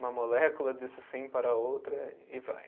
Uma molécula disse sim para a outra e vai.